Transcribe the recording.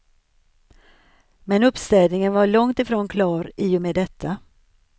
Men uppstädningen var långt ifrån klar i och med detta.